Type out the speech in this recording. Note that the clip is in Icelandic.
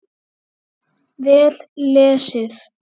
Vel lesið.